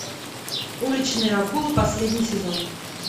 уличные акулы последний сезон